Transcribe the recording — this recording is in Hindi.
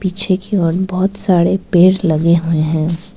पीछे की ओर बहोत साडे पेड़ लगे हुए हैं।